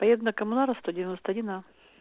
поеду на коммунаров сто девяносто один а